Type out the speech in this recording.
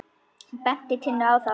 Hann benti Tinnu á það.